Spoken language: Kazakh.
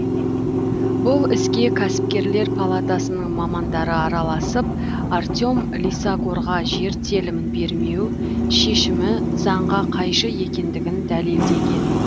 бұл іске кәсіпкерлер палатасының мамандары араласып артем лисагорға жер телімін бермеу шешімі заңға қайшы екендігін дәлелдеген